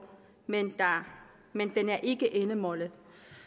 men men den er ikke endemålet